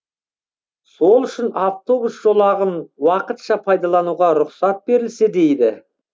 сол үшін автобус жолағын уақытша пайдалануға рұқсат берілсе дейді